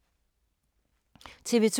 TV 2